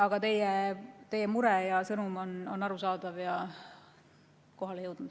Aga teie mure ja sõnum on arusaadavad ja kohale jõudnud.